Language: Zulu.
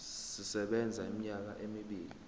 sisebenza iminyaka emibili